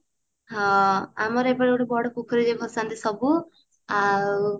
ହଁ ଆମର ଏପଟେ ଗୋଟେ ବଡ ପୋଖରୀ ରେ ଭସାନ୍ତି ସବୁ ଆଉ